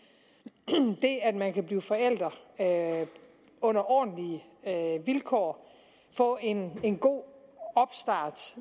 at man kan blive forældre under ordentlige vilkår få en en god opstart